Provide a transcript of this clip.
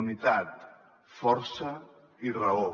unitat força i raó